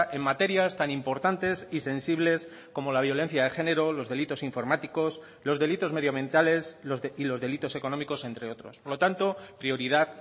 en materias tan importantes y sensibles como la violencia de género los delitos informáticos los delitos medioambientales y los delitos económicos entre otros por lo tanto prioridad